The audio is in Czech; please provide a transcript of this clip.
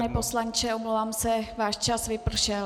Pane poslanče, omlouvám se, váš čas vypršel.